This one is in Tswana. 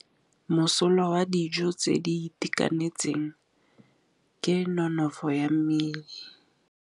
Mosola wa dijô tse di itekanetseng ke nonôfô ya mmele.